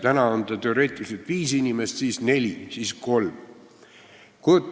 Praegu on selle suurus teoreetiliselt viis inimest, siis on neli ja siis kolm.